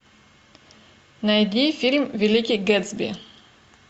найди фильм великий гэтсби